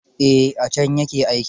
Eh, a can ya ke aiki.